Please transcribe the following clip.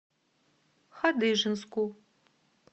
хадыженску